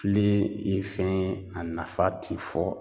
Filen ye fɛn ye a nafa ti fɔ